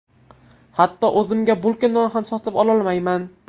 Hatto o‘zimga bulka non ham sotib ololmayman.